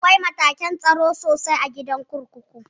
Akwai matakin tsaro sosai a gidan kurkuku